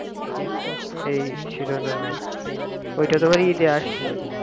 এই শিরনামে ওইটা তোমার ইদে আসছে